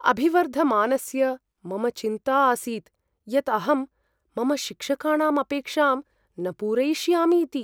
अभिवर्धमानस्य मम चिन्ता आसीत् यत् अहं मम शिक्षकाणाम् अपेक्षां न पूरयिष्यामि इति।